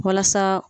Walasa